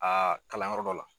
Aa kalanyɔrɔ dɔ la